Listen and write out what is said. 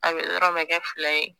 A bɛ yɔrɔ bɛ kɛ fila ye